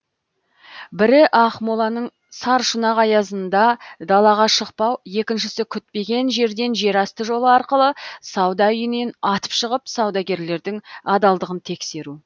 бірі ақмоланың саршұнақ аязында далаға шықпау екіншісі күтпеген жерден жерасты жолы арқылы сауда үйінен атып шығып саудагерлердің адалдығын тексеру